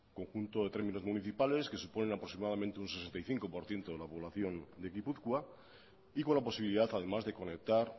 conjunto de términos municipales que suponen aproximadamente un sesenta y cinco por ciento de la población de gipuzkoa y con la posibilidad además de conectar